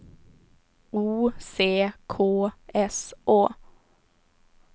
O C K S Å